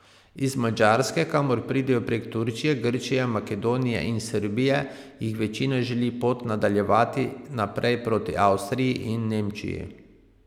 Iz Madžarske, kamor pridejo prek Turčije, Grčije, Makedonije in Srbije, jih večina želi pot nadaljevati naprej proti Avstriji in Nemčiji.